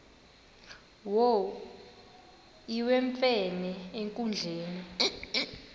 wo iwemfene enkundleni